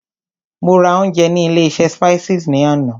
Mo ra ounjẹ ní ilé oúnjẹ Spices ní àná.